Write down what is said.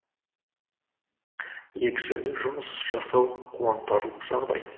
екі жерде жұмыс жасау қуантарлық жағдай